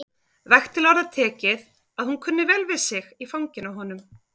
Vægt til orða tekið að hún kunni vel við sig í fanginu á honum.